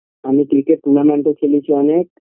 আমি cricket tournament -এ খেলেছি অনেক